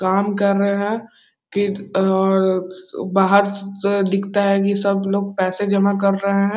काम कर रहे है कि और बाहर से दिखता है कि सब लोग पैसे जमा कर रहे है।